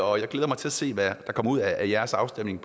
og jeg glæder mig til at se hvad der kommer ud af jeres afstemning